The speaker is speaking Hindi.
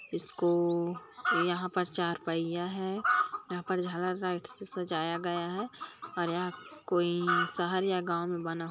इसको यहाँ पर चार पहिया है यहा पर झालर लाईट से सजाया गया है और यहाँ कोई शहर या गांव में बना हुआ--